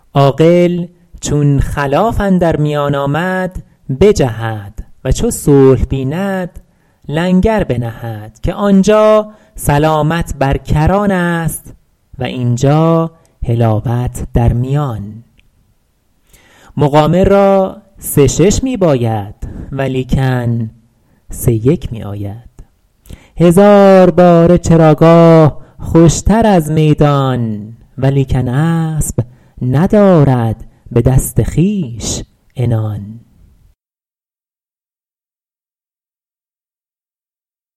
عاقل چون خلاف اندر میان آمد بجهد و چو صلح بیند لنگر بنهد که آنجا سلامت بر کران است و اینجا حلاوت در میان مقامر را سه شش می باید ولیکن سه یک می آید هزار باره چراگاه خوشتر از میدان ولیکن اسب ندارد به دست خویش عنان